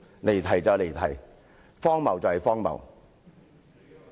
離題就是離題，荒謬就是荒謬。